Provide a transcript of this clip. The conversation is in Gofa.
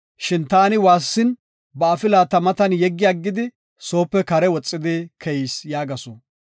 Shin taani waassin, ba afila ta matan yeggi aggidi, soope kare woxi keyis” yaagasu.